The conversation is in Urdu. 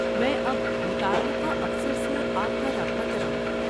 میں اب متعلقہ افسر سے آپ کا رابطہ کراؤں گا۔